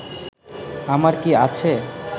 আমার কি আছে